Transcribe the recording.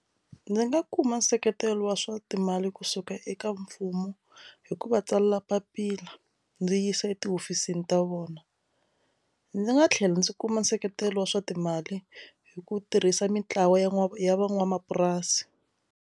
Ndzi nga kuma nseketelo wa swa timali kusuka eka mfumo hi ku va tsalela papila ndzi yisa etihofisini ta vona ndzi nga tlhela ndzi kuma nseketelo wa swa timali hi ku tirhisa mintlawa ya n'wana ya van'wamapurasi.